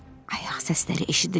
Ayaq səsləri eşidilir.